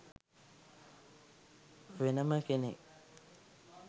වෙනම කෙනෙක්.